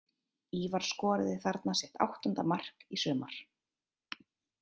Ívar skoraði þarna sitt áttunda mark í sumar.